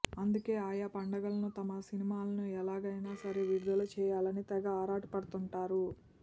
అందుకే ఆయా పండగలను తమ సినిమాలను ఎలాగైనా సరే విడుదల చేయాలనీ తెగ ఆరాటపడుతుంటారు